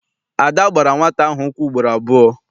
Ada gbara nwata ahụ ụkwụ ugboro abụọ.